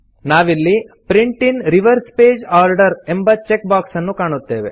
ನಾವಿಲ್ಲಿ print in reverse page order ಎಂಬ check box ಅನ್ನು ಕಾಣುತ್ತೇವೆ